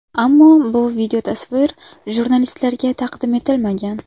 Ammo bu videotasvir jurnalistlarga taqdim etilmagan.